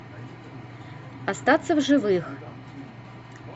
остаться в живых